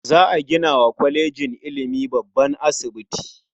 Za a gina wa kwalejin ilimin babban asibiti.